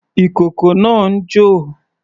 Ìkókó náà ń jò.